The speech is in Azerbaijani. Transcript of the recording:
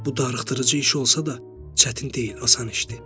Bu darıxdırıcı iş olsa da, çətin deyil, asan işdir.